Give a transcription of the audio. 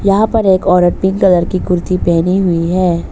यहां पर एक औरत पिंक कलर की कुर्ती पहनी हुई है।